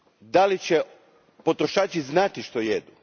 da li će potrošači znati što jedu?